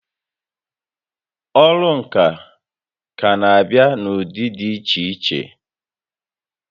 Ọrụ ǹkà kà n'abịa n'ụdị dị iche iche